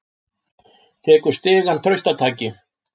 Tekur stigann traustataki.